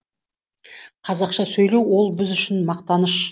қазақша сөйлеу ол біз үшін мақтаныш